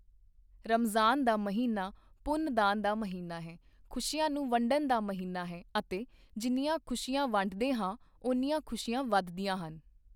ਰਮਜ਼ਾਨ ਮਹੀਨਾ ਪੁੰਨਦਾਨ ਦਾ ਮਹੀਨਾ ਹੈ, ਖੁਸ਼ੀਆਂ ਨੂੰ ਵੰਡਣ ਦਾ ਮਹੀਨਾ ਹੈ ਅਤੇ ਜਿੰਨੀਆਂ ਖੁਸ਼ੀਆਂ ਵੰਡਦੇ ਹਾਂ, ਓਨੀਆਂ ਖੁਸ਼ੀਆਂ ਵੱਧਦੀਆਂ ਹਨ।